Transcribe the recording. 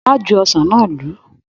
Má ju ọsán náà lù u.